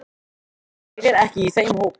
Ég er ekki í þeim hópi.